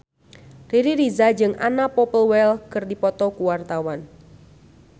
Riri Reza jeung Anna Popplewell keur dipoto ku wartawan